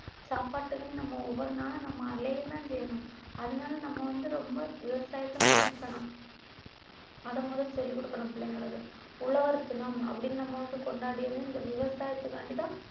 சாப்பாட்டுக்குன்னு நம்ம ஒவ்வொரு நாளும் நம்ம அலையதான் செய்யணும் அதனால நம்ம வந்து ரொம்ப விவசாயத்தை மதிக்கணும் அதை முத சொல்லிக் கொடுக்கணும் பிள்ளைங்களுக்கு உழவர் தினம் அப்படின்னு நம்ம வந்து கொண்டாடியது இந்த விவசாயத்துக்காக வேண்டிதான்